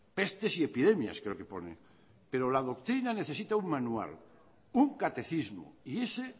pestes y epidemias creo que pone pero la doctrina necesita un manual un catecismo y ese